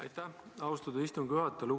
Aitäh, austatud istungi juhataja!